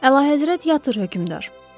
Əlahəzrət yatır hökmdar.